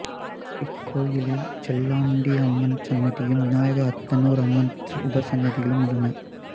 இக்கோயிலில் செல்லலாண்டியம்மன் சன்னதியும் விநாயகர் அத்தனூர் அம்மன் உபசன்னதிகளும் உள்ளன